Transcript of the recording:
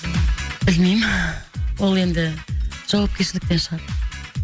білмеймін ол енді жауапкершіліктен шығар